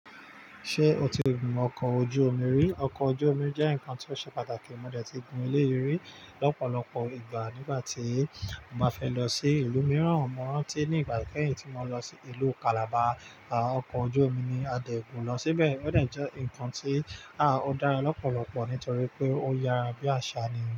Ṣé o ti gun oko ojú omi rí? Ọkọ̀ ojú omi jẹ́ ǹkan tí ó ṣe pàtàkì. Mo dẹ̀ ti gun eléyi i ri lọ́pọ̀lọpọ̀ ìgbà nígbà tí mo bá fẹ́ lọ sí ìlú mìíràn. Mọ̀ rántí ní ìgbà ikẹ́yìn tí mo lọ sí ìlú Calabar, à, ọkọ̀ ojú omi ni a dẹ̀ gùn lọ síbẹ̀. Ó dẹ̀ jẹ́ ǹkan tí, à, ó dára lọ́pọ̀lọpọ̀ nítorí pé ó yára bí àsá ni.